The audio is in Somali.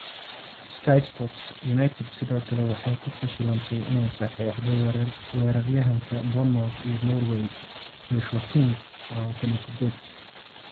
(Sky Sports) United sidoo kale waxay ku fashilantay inay saxiixdo weeraryahanka Bournemouth iyo Norway, Joshua King, 28.